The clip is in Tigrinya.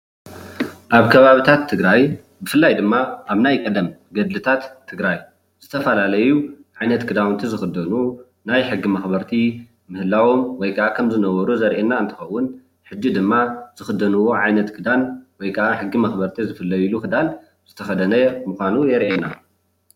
ኣብ ከባቢታት ትግራይ ብፍላይ ድማ ኣብ ናይ ቀደም ገልታት ትግራይ ዝፈላለዩ ዓይነት ክዳውንቲ ዝክደንዎ ናይ ሕጊ መክበርቲ ምህላዎም ወይ ከዓ ከም ዝነበሩን ዘርእይና እንትከውን ሕዚ ድማ ዝክደንዎ ክዳን ወይ ከዓ ሕጊ መክበርቲ ዝፍለይሉ ክዳን ዝተከደነ ምኳኑ የርእየና፡፡